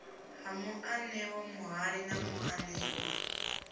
ha muanewa muhali na muanewa